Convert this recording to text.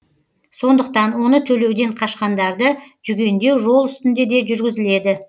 сондықтан оны төлеуден қашқандарды жүгендеу жол үстінде де жүргізіледі